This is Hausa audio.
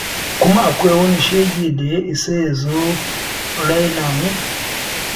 Kuma akwai wani shege da ya isa ya zo ya raina mu?